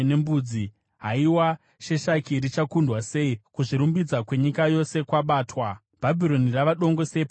“Haiwa, Sheshaki richakundwa sei, kuzvirumbidza kwenyika yose kwabatwa! Bhabhironi rava dongo sei pakati pendudzi!